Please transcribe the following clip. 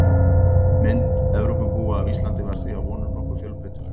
Mynd Evrópubúa af Íslandi var því að vonum nokkuð fjölbreytileg.